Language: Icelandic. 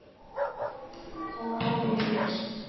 Það hafi nú breyst.